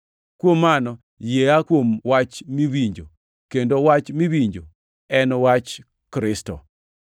Kuom mano, yie aa kuom wach miwinjo, kendo wach miwinjono en wach Kristo.